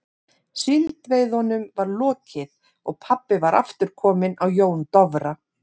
Síldveiðunum var lokið og pabbi var aftur kominn á Jón Dofra.